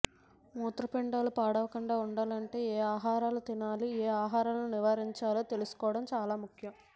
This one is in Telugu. మూత్రపిండాలు పాడవకుండా ఉండాలంటే ఏ ఆహారాలు తినాలి ఏ ఆహారాలను నివారించాలో తెలుసుకోవడం చాలా ముఖ్యం